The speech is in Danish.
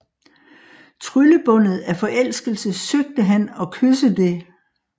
Tryllebundet af forelskelse søgte han at kysse det